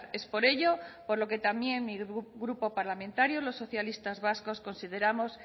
es por ello por lo que también mi grupo parlamentario los socialistas vascos consideramos